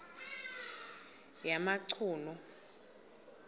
yamachunu